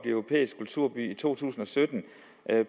europæisk kulturby i to tusind og sytten